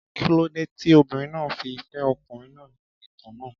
Kí ló dé tí obìnrin náà fi fẹ́ ọkùnrin náà nínú ìtàn náà?